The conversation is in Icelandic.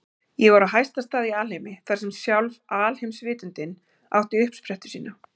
Ég var á hæsta stað í alheimi, þar sem sjálf alheimsvitundin átti uppsprettu sína.